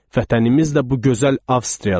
Vətənimiz də bu gözəl Avstriyadır.